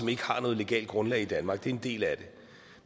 ikke har noget legalt grundlag i danmark det er en del af det